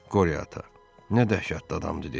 Qorya ata, nə dəhşətli adamdır dedi.